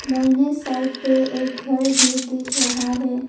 दाहिने साइड पे एक घर भी दिख रहा है।